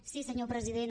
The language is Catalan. sí senyor president